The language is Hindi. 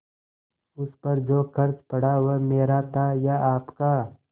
उस पर जो खर्च पड़ा वह मेरा था या आपका